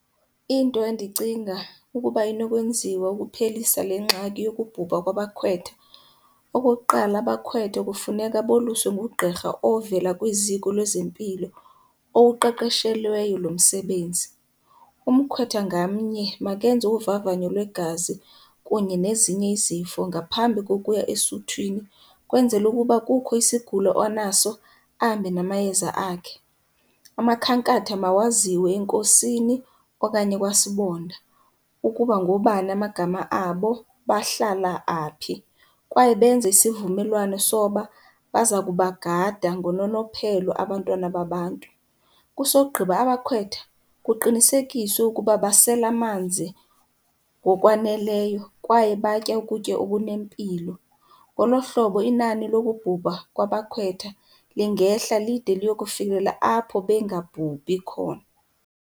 Into endicinga ukuba inokwenziwa ukuphelisa le ngxaki yokubhubha kwabakhwetha, okokuqala abakhwetha kufuneka boluswe ngugqirha ovela kwiziko lwezempilo owuqeqeshelweyo lo msebenzi. Umkhwetha ngamnye makenze uvavanyo lwegazi kunye nezinye izifo ngaphambi kokuya esuthwini kwenzele ukuba kukho isigulo anaso ahambe namayeza akhe. Amakhankatha mawaziwe enkosini okanye kwaSibonda ukuba ngoobani amagama abo, bahlala aphi, kwaye benze isivumelwano soba baza kubagada ngononophelo abantwana babantu. Kusogqiba abakhwetha kuqinisekiswe ukuba basela amanzi ngokwaneleyo kwaye batye ukutya okunempilo. Ngolo hlobo inani lokubhubha kwabakhwetha lingehla lide liyokufikelela apho bengabhubhi khona.